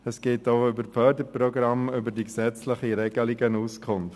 Es gibt auch über die Förderprogramme, über die gesetzlichen Regelungen Auskunft.